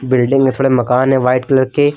Building में थोड़े मकान है व्हाइट कलर के।